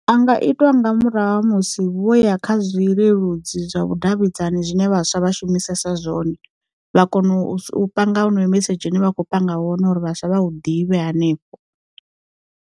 A nga itwa nga murahu ha musi vho ya kha zwi leludzi zwa vhudavhidzani zwine vhaswa vha shumisesa zwone, vha kona u panga ho noyo mesedzhi une vha kho panga wone uri vhaswa vha hu ḓivhe hanefho.